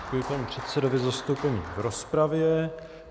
Děkuji panu předsedovi za vystoupení v rozpravě.